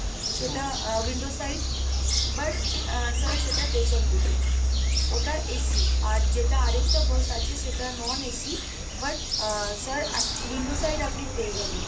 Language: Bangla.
সেটা window side but uh sir সেটা পেছন দিকে ওটা AC আর, যেটা আরেকটা bus আছে সেটা non AC but uh sir এক window side আপনি পেয়ে যাবেন।